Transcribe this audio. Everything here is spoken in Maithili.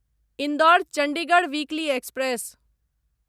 Indore Chandigarh weekly express